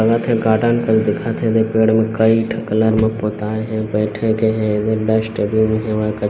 हे garden मन दिखत हे एदे पेड़ मे कई ठो कलर मे पुताय है बैठे के हे --]